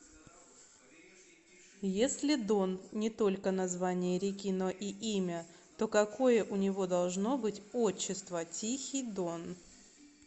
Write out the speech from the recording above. если дон не только название реки но и имя то какое у него должно быть отчество тихий дон